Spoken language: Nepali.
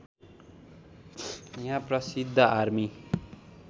यहाँ प्रसिद्ध आर्मी